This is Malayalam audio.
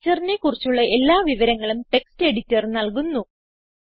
structureനെ കുറിച്ചുള്ള എല്ലാ വിവരങ്ങളും ടെക്സ്റ്റ് എഡിറ്റർ നൽകുന്നു